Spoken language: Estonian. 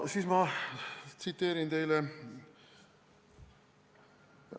Siis ma tsiteerin teile.